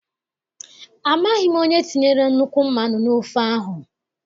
Amaghị m onye tinyere nnukwu mmanụ n' ofe ahụ.